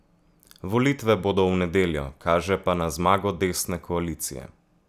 Volitve bodo v nedeljo, kaže pa na zmago desne koalicije.